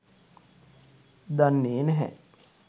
දන්නේ නැහැ